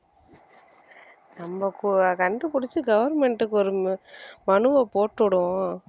நம்ம கோ~ கண்டுபிடிச்சு government க்கு ஒரு ம~ மனுவை போட்டு விடுவோம்